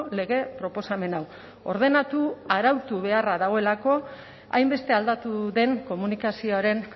lege proposamen hau ordenatu arautu beharra dagoelako hainbeste aldatu den komunikazioaren